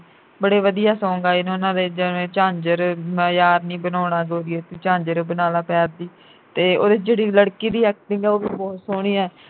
ਬੜੇ ਵਧੀਆ songs ਆਏ ਨੇ ਉਨ੍ਹਾਂ ਦੇ ਜਿਵੇਂ ਝਾਂਜਰ ਮੈਂ ਯਾਰ ਨੀ ਬਣਾਉਣਾ ਗੋਰੀਏ ਤੂੰ ਝਾਂਜਰ ਬਣਾਲਾ ਪੈਰ ਦੀ ਤੇ ਉਹ ਜਿਹੜੀ ਲੜਕੀ ਦੀ acting ਐ ਉਹ ਵੀ ਬਹੁਤ ਸੋਹਣੀ ਐ